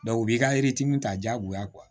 u b'i ka ta diyagoya